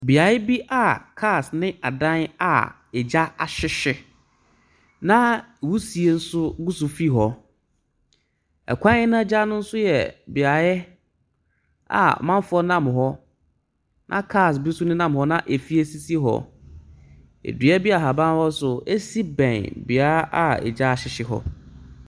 Beaeɛ bi a cars ne adan a gya ahyehye na wusie nso gu so firi hɔ, kwan n’agya no nso yɛ beaeɛ a mamfoɔ nam hɔ na cars bi nam hɔ na afie sisi hɔ. Bea bi a haban wɔ so si bɛn bea a gya ahyehye hɔ.